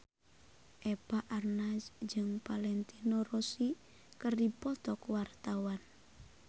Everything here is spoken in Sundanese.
Eva Arnaz jeung Valentino Rossi keur dipoto ku wartawan